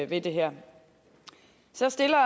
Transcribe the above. ved det her så stiller